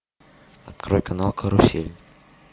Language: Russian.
открой канал карусель